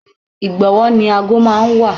Igbowo ni ago máa ń wà.